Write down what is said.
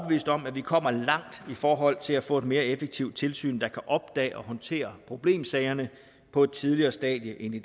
om at vi kommer langt i forhold til at få et mere effektivt tilsyn der kan opdage og håndtere problemsagerne på et tidligere stadie end i